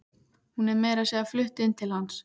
Hún er meira að segja flutt inn til hans.